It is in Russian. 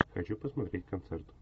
хочу посмотреть концерт